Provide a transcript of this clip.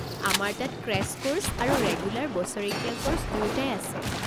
আমাৰ তাত crash course আৰু ৰেগুলাৰ বছৰেকীয়া ক'ৰ্ছ দুয়োটাই আছে।